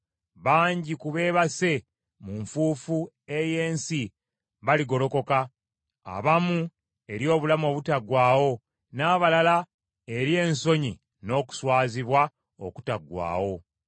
Bangi ku beebase mu nfuufu ey’ensi baligolokoka, abamu eri obulamu obutaggwaawo, n’abalala eri ensonyi n’okuswazibwa okutaggwaawo.